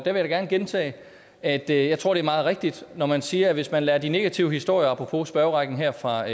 jeg da gerne gentage at jeg tror det er meget rigtigt når man siger at hvis man lader de negative historier apropos spørgerækken her fra